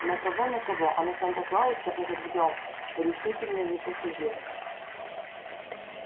на кого на кого а на санта-клауса этот гном решительно не походил